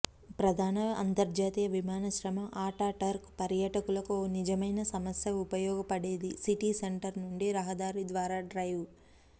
ప్రధాన అంతర్జాతీయ విమానాశ్రయం ఆటాటర్క్ పర్యాటకులకు ఒక నిజమైన సమస్య ఉపయోగపడేది సిటీ సెంటర్ నుండి రహదారి ద్వారా డ్రైవ్